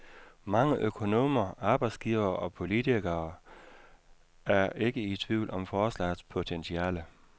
Mange økonomer, arbejdsgivere og politikere er ikke i tvivl om forslagets potentiale.